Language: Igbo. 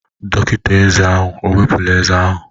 Dọkịta eze ahụ ewepụla eze ahụ?